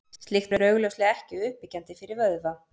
Slíkt er augljóslega ekki uppbyggjandi fyrir vöðva.